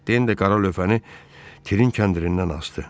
Den də qara lövhəni tirin kəndirindən asdı.